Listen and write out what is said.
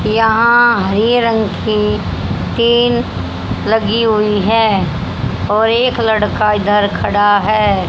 यहां हरे रंग की टीन लगी हुई है और एक लड़का इधर खड़ा है।